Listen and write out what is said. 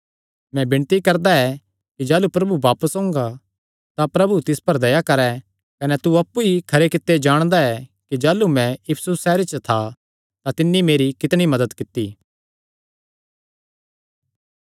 मैं विणती करदा ऐ कि जाह़लू प्रभु बापस ओंगा तां प्रभु तिस पर दया करैं कने तू अप्पु ई खरे कित्ते जाणदा ऐ कि जाह़लू मैं इफिसुस सैहरे च था तां तिन्नी मेरी कितणी मदत कित्ती